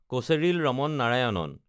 Kocheril Raman Narayanan